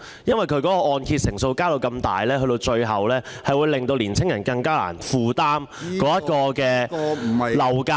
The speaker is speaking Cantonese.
大幅提升按揭成數，最終將令青年人更難負擔樓價......